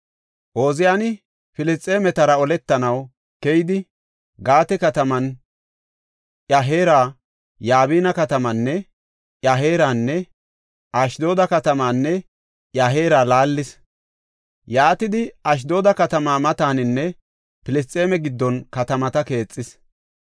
Ooziyani Filisxeemetara oletanaw keyidi Gaate katamaanne iya heera, Yabina katamaanne iya heeranne Ashdooda katamaanne iya heera laallis. Yaatidi Ashdooda katamaa mataninne Filisxeeme giddon katamata keexis.